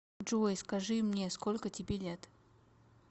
джой скажи мне сколько тебе лет